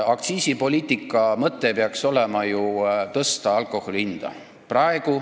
Aktsiisipoliitika mõte peaks olema tõsta alkoholi hinda.